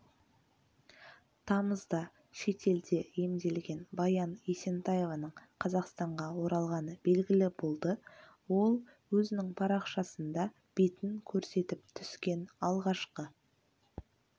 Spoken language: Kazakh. тамызда шетелде емделген баян есентаеваның қазақстанға оралғаны белгілі болды ол өзінің парақшасында бетін көрсетіп түскен алғашқы